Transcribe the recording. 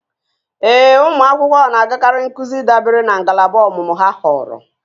Ee, ụmụ akwụkwọ na-agakarị nkuzi dabere na ngalaba ọmụmụ ha họọrọ